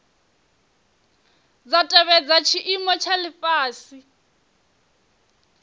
dza tevhedza tshiimo tsha lifhasi